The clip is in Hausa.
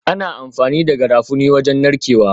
Ana amfani da Garafuni wajen narkewa